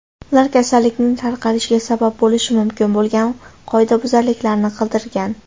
Ular kasallikning tarqalishiga sabab bo‘lishi mumkin bo‘lgan qoidabuzarliklarni qidirgan.